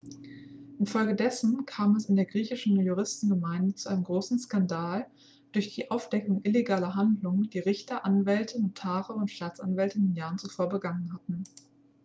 infolgedessen kam es in der griechischen juristengemeinde zu einem großen skandal durch die aufdeckung illegaler handlungen die richter anwälte notare und staatsanwälte in den jahren zuvor begangen hatten